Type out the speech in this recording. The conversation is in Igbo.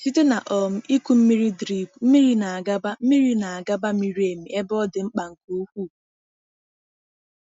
Site na um ịkụ mmiri drip, mmiri na-agaba mmiri na-agaba miri emi ebe ọ dị mkpa nke ukwuu.